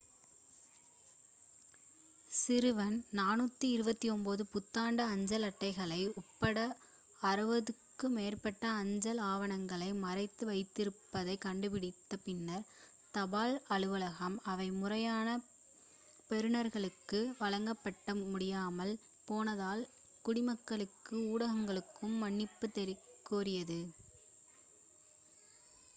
சிறுவன் 429 புத்தாண்டு அஞ்சல் அட்டைகள் உட்பட 600 க்கும் மேற்பட்ட அஞ்சல் ஆவணங்களை மறைத்து வைத்திருப்பதைக் கண்டுபிடித்த பின்னர் தபால் அலுவலகம் அவை முறையான பெறுனர்களுக்கு வழங்கப்பட முடியாமல் போனதால் குடிமக்களுக்கும் ஊடகங்களுக்கும் மன்னிப்புக் கோரியது